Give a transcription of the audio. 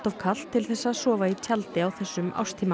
kalt til þess að sofa í tjaldi á þessum árstíma